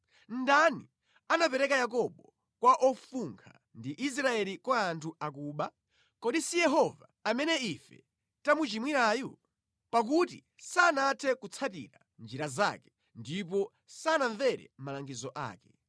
Ndani anapereka Yakobo kwa ofunkha, ndi Israeli kwa anthu akuba? Kodi si Yehova, amene ife tamuchimwirayu? Pakuti sanathe kutsatira njira zake; ndipo sanamvere malangizo ake.